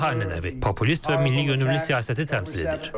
Tramp daha ənənəvi, populist və milliyönümlü siyasəti təmsil edir.